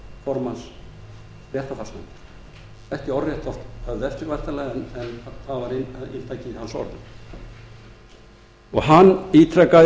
formanns réttarfarsnefndar ekki orðrétt væntanlega en það var inntakið í orðum hans og hann ítrekaði